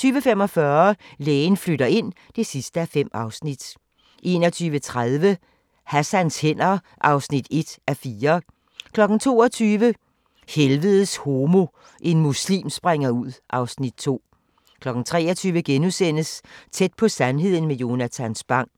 20:45: Lægen flytter ind (5:5) 21:30: Hassans hænder (1:4) 22:00: Helvedes homo – en muslim springer ud (Afs. 2) 23:00: Tæt på sandheden med Jonatan Spang *